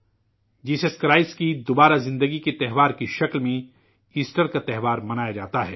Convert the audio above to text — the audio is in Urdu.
عیسی مسیح کے دوبارہ زندہ ہونے کے اتسو کی شکل میں ایسٹر کا تہوار منایا جاتا ہے